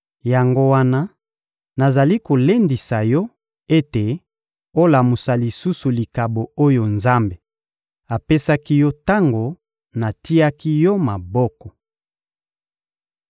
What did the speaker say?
Yango wana nazali kolendisa yo ete olamusa lisusu likabo oyo Nzambe apesaki yo tango natiaki yo maboko.